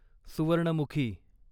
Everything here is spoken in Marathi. सुवर्णमुखी